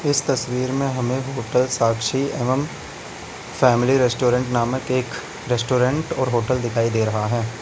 इस तस्वीर में हमें होटल साक्षी एवं फैमिली रेस्टोरेंट नामक एक रेस्टोरेंट और होटल दिखाई दे रहा है।